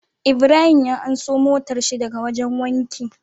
Ibrahim ya anso motar shi daka wajan wanki